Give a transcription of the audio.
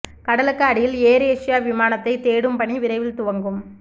கடலுக்கு அடியில் Air Asia விமானத்தை தேடும் பணி விரைவில் துவங்கும்